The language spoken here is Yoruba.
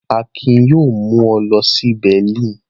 Akin yóò mú ọ lọ sí Berlin.